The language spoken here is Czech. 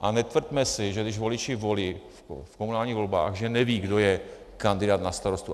A netvrďme si, že když voliči volí v komunálních volbách, že nevědí, kdo je kandidát na starostu.